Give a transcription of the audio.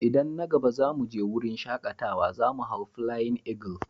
Idan na gaba za mu je wurin shakatawa, za mu hau "Flying Eagle".